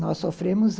Nós sofremos a...